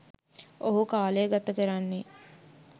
ඔහු කාලය ගත කරන්නේ.